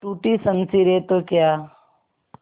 टूटी शमशीरें तो क्या